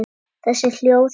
Þessi hljóð geta